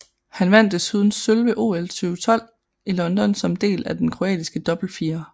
Han vandt desuden sølv ved OL 2012 i London som del af den kroatiske dobbeltfirer